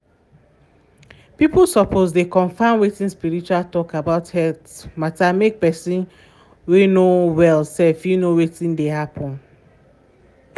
people suppose dey confirm watin spiritual talk about health matamake person whey no well self fit know watin dey happen.